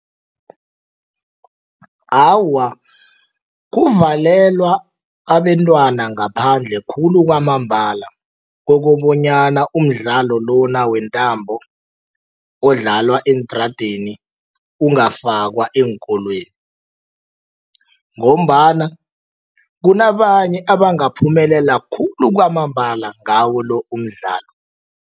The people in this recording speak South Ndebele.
Awa, kuvalelwa abentwana ngaphandle khulu kwamambala kokobanyana umdlalo lona wentambo odlalwa eentradeni ungafakwa eenkolweni ngombana kunabanye abangaphumelela khulu kwamambala ngawo lo umdlalo.